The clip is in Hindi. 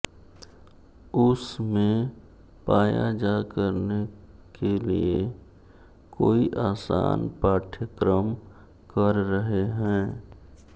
उस में पाया जा करने के लिए कोई आसान पाठ्यक्रम कर रहे हैं